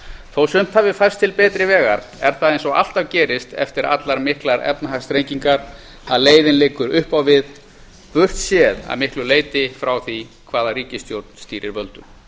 þó sumt hafi færst til betri vegar er það eins og alltaf gerist eftir allar miklar efnahagsþrengingar að leiðin liggur upp á við burtséð að miklu leyti frá því hvaða ríkisstjórn stýrir völdum